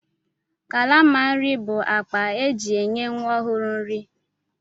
Kalama nri bụ akpa e ji enye nwa ọhụrụ nri.